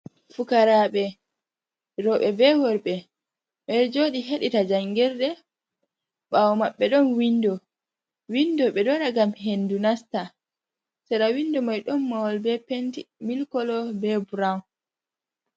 Fukaraɓe roooɓe be worɓe ɓe ɗo jodi heɗita njangirde, ɓawo maɓbe ɗon windo, windo ɓe ɗo waɗa ngam hendu nasta, sera windo mai ɗon mahol be penti milik kolo be brown.